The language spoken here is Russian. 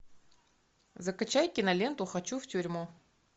закачай киноленту хочу в тюрьму